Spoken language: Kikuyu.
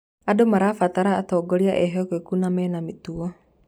Andũ marabatara atongoria ehokeku na mena mĩtugo.